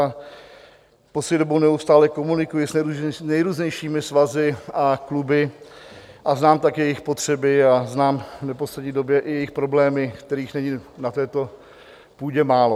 A poslední dobou neustále komunikuji s nejrůznějšími svazy a kluby a znám taky jejich potřeby a znám v poslední době i jejich problémy, kterých není na této půdě málo.